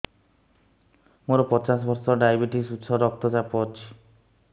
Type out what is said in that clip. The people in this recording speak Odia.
ମୋର ପଚାଶ ବର୍ଷ ଡାଏବେଟିସ ଉଚ୍ଚ ରକ୍ତ ଚାପ ଅଛି